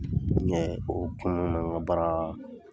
o n ka la